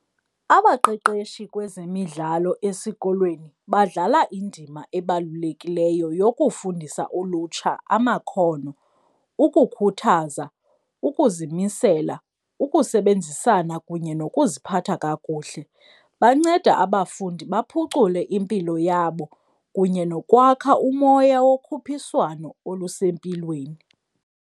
Abaqeqeshi kwezemidlalo esikolweni badlala indima ebalulekileyo yokufundisa ulutsha amakhono, ukukhuthaza, ukuzimisela, ukusebenzisana kunye nokuziphatha kakuhle. Banceda abafundi baphucule impilo yabo kunye nokwakha umoya wokhuphiswano olusempilweni.